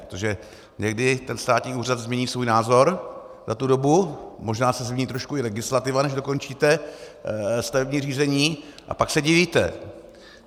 Protože někdy ten státní úřad změní svůj názor za tu dobu, možná se změní trošku i legislativa, než dokončíte stavební řízení, a pak se divíte.